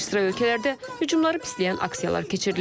Bir sıra ölkələrdə hücumları pisləyən aksiyalar keçirilib.